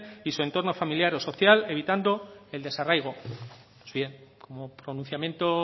y du entorno familiar o social evitando el desarraigo pues bien como pronunciamiento